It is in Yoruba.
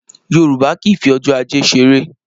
Yorùbá kì í fi ọjọ́ ajé ṣeré